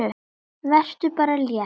Vertu bara létt!